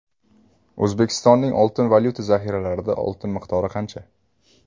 O‘zbekistonning oltin-valyuta zaxiralarida oltin miqdori qancha?